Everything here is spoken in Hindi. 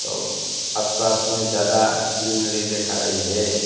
और आसपास में ज्यादा ग्रीनरी देखा रही हैं।